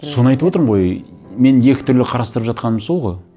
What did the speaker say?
соны айтып отырмын ғой мен екі түрлі қарастырып жатқаным сол ғой